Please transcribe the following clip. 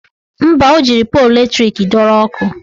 Mba, o jiri polu latrik dọrọ ọkụ